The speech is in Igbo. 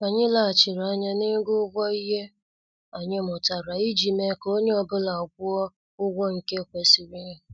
Anyị leghachiri anya na-ego ụgwọ ihe anyị mụtara iji mee ka onye ọ bụla gwuo ụgwọ nke kwesịrị ya.